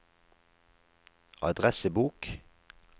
adressebok